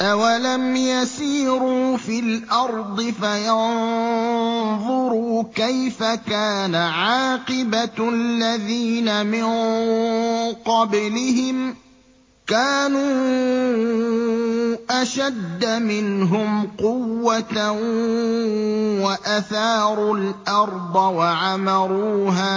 أَوَلَمْ يَسِيرُوا فِي الْأَرْضِ فَيَنظُرُوا كَيْفَ كَانَ عَاقِبَةُ الَّذِينَ مِن قَبْلِهِمْ ۚ كَانُوا أَشَدَّ مِنْهُمْ قُوَّةً وَأَثَارُوا الْأَرْضَ وَعَمَرُوهَا